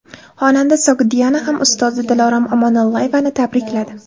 Xonanda Sogdiana ham ustozi Dilorom Omonullayevani tabrikladi.